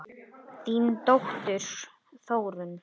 Þín dóttir, Þórunn.